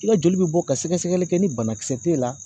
I ka joli bɛ bɔ ka sɛgɛsɛgɛli kɛ ni banakisɛ t'e la